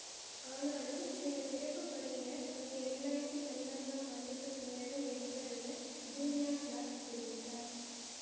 ஆனாலும் சில சிறப்பு படையினர் அங்கு இரண்டு ஆயிரத்தி பதினான்காம் ஆண்டுக்கு பின்னரும் இருப்பர் என ஜூலியா கிலார்ட் தெரிவித்தார்